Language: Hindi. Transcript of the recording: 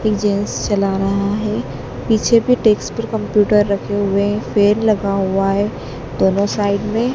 चला रहा है पीछे भी डेस्क पर कंप्यूटर रखे हुए हैं पेड़ लगा हुआ हैं दोनों साइड में।